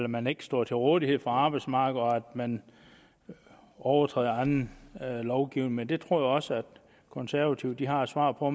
man ikke står til rådighed for arbejdsmarkedet og at man overtræder anden lovgivning men det tror jeg også de konservative har et svar på